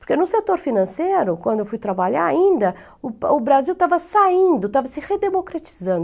Porque no setor financeiro, quando eu fui trabalhar ainda, o Brasil estava saindo, estava se redemocratizando.